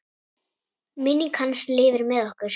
Minning hans lifir með okkur.